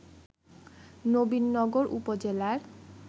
নবীনগর উপজেলার